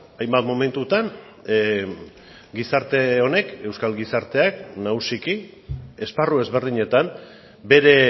hainbat momentutan gizarte honek euskal gizarteak nagusiki esparru ezberdinetan bere